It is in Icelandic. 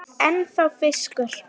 Ennþá fiskur.